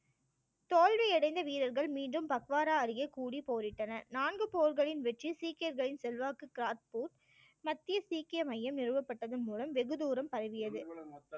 தோல்வி அடைந்த வீரர்கள் மீண்டும் பக்வாரா அருகே கூடி போரிட்டன. நான்கு போர்களின் வெற்றி சீக்கியர்களின் செல்வாக்கு காட்பூர் மத்திய சீக்கிய மையம் நிறுவப்பட்டது மூலம் வெகுதூரம் பரவியது